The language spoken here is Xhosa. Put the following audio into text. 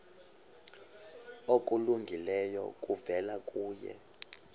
okulungileyo kuvela kuye